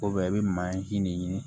i bɛ mansi de ɲini